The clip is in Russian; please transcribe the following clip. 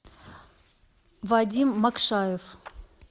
вадим макшаев